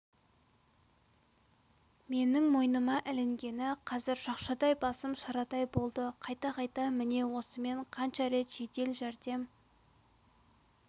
менің мойныма ілінгені менің шақшадай басым шарадай болды қайта-қайта міне осымен қанша рет жедел жәрдем